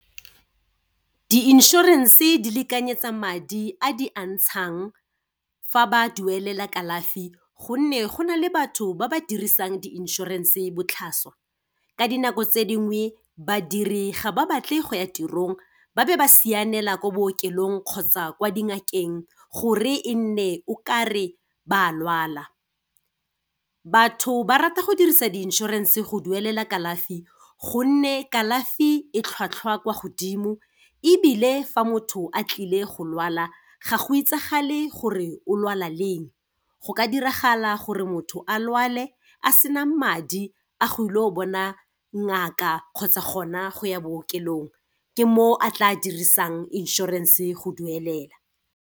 Di-insurance-e di lekanyetsa madi a di a ntshang fa ba duelela kalafi gonne go na le batho ba ba dirisang di-insurance-e botlhaswa. Ka dinako tse dingwe, badiri ga ba batle go ya tirong ba be ba sianela ko bookelong kgotsa kwa di ngakeng, gore e nne o kare ba a lwala. Batho ba rata go dirisa di-insurance-e go duelela kalafi, gonne kalafi e tlhwatlhwa kwa godimo, ebile fa motho a tlile go lwala, ga go itsagale gore o lwala leng. Go ka diragala gore motho a lwale, a sena madi a go ile go bona ngaka kgotsa gona go ya bookelong, ke mo a tla dirisang insurance-e go duelela.